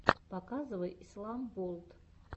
показывай ислам ворлд